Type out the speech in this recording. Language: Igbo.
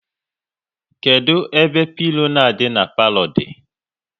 Kedụ ebe obele pilo na adị na palo dị?